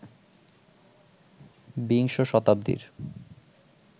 বিংশ শতাব্দীর